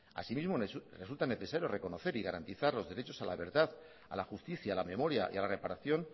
asimismo resulta necesario reconocer y garantizar los derechos a la verdad a la justicia a la memoria y a la reparación